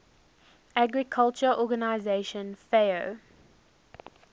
agriculture organization fao